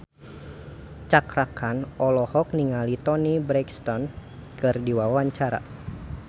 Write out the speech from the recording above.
Cakra Khan olohok ningali Toni Brexton keur diwawancara